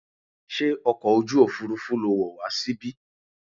Ṣé ọkọ̀ ojú òfurufú lo wọ̀ wá síbí?